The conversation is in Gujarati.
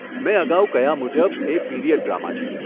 મેં અગાઉ કહ્યા મુજબ એ પીરીયડ ડ્રામા છે.